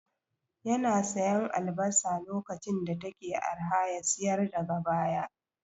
Yana siyan albasa lokacin da take arha ya siyar daga baya